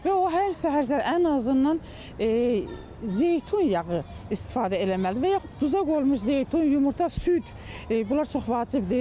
Və o hər səhər, hər səhər ən azından zeytun yağı istifadə eləməlidir və yaxud duza qoyulmuş zeytun, yumurta, süd, bunlar çox vacibdir.